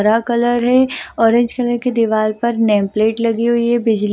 हरा कलर है orange colour की दीवार पर नेम प्लेट लगी हुई है बिजली --